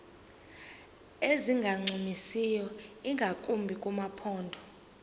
ezingancumisiyo ingakumbi kumaphondo